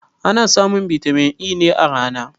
Ana samun bitamin E ne a rana